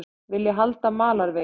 Vilja halda í malarveginn